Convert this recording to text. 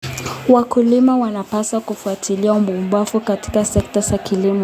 Wakulima wanapaswa kufuatilia uvumbuzi katika sekta ya kilimo.